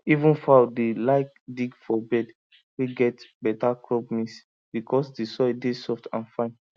even fowl dey like dig for bed wey get better crop mix because the soil dey soft and fine